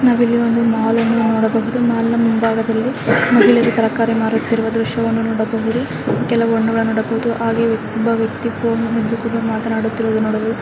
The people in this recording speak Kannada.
ನಾವು ಇಲ್ಲಿ ಒಂದು ಮಾಲ್ಅನ್ನು ನೋಡಬಹುದು ಮಾಲ್ನ ಮುಂಭಾಗದಲ್ಲಿ ಮಹಿಳೆ ತರಕಾರಿ ಮಾರುತ್ತಿರುವ ದ್ರಶ್ಯವನ್ನು ನೋಡಬಹುದು ಕೆಲವು ಹಣ್ಣುಗಳನ್ನು ನೋಡಬಹುದು ಹಾಗೆ ಒಬ್ಬ ವ್ಯಕ್ತಿ ಫೋನ್ ಹಿಡಿದು ಮಾತನಾಡುತ್ತಿರುವುದನ್ನು ನೋಡಬಹುದು.